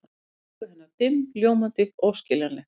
Augu hennar dimm, ljómandi, óskiljanleg.